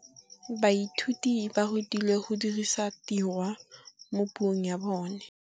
Baithuti ba rutilwe go dirisa tirwa mo puong ya bone.